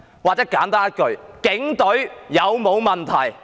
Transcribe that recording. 或是我簡單問一句：警隊有否問題？